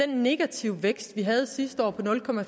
den negative vækst vi havde sidste år